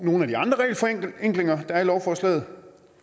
nogle af de andre regelforenklinger der er i lovforslaget